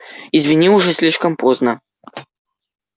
извини уже слишком поздно